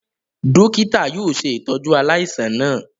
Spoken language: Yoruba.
Dokita yóò ṣe itọju aláìsàn náà